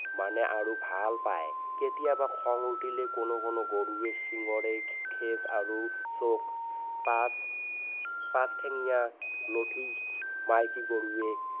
মানে আৰু ভাল পায় কেতিয়াবা খং উঠিলে কোনো কোনো গৰুৱে শিঙৰে আৰু পাছ পাছ ঠেঙিয়া মাইকী গৰুৱে